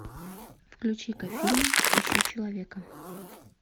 включи ка фильм ищу человека